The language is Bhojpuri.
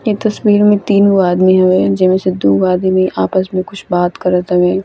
ये तस्वीर में तीन गो आदमी होए जेमें से दूगो आदमी आपस में कुछ बात कर तानी।